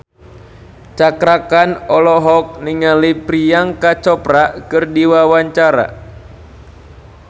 Cakra Khan olohok ningali Priyanka Chopra keur diwawancara